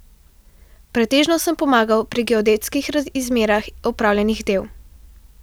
Pretežno sem pomagal pri geodetskih izmerah opravljenih del.